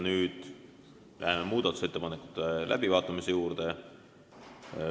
Nüüd läheme muudatusettepanekute läbivaatamise juurde.